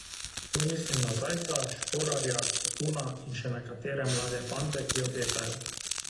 Tu mislim na Zajca, Šporarja, Kapuna in še nekatere mlade fante, ki obetajo.